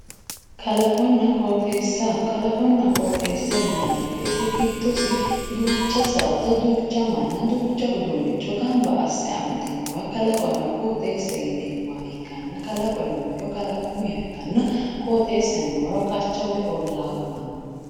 Kalaqona qooxeesa yinaani woyiite giddossi duucha saada, mana amamdinoha ikkana qooxeesaho yiineemo woyite qacha woyi ollaa kulanno